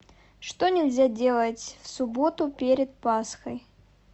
что нельзя делать в субботу перед пасхой